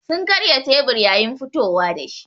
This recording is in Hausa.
Sun karya tebur yayin fitowa da shi.